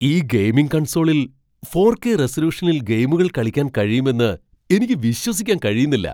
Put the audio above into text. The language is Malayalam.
ഈ ഗെയിമിംഗ് കൺസോളിൽ ഫോർ കെ റെസല്യൂഷനിൽ ഗെയിമുകൾ കളിക്കാൻ കഴിയുമെന്ന് എനിക്ക് വിശ്വസിക്കാൻ കഴിയുന്നില്ല.